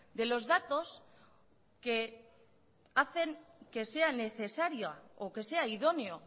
de los datos que hacen que sea necesario o que sea idóneo